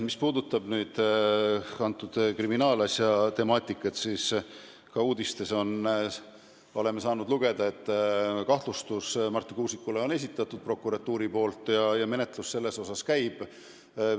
Mis puudutab antud kriminaalasja, siis ka uudistest oleme saanud lugeda, et kahtlustuse Marti Kuusiku vastu on prokuratuur esitanud ja menetlus käib.